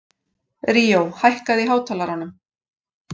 Ríó, hækkaðu í hátalaranum.